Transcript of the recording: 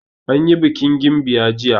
Anyi bikin gimbiya jiya.